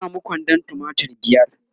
na samu kwandon tumatir biyar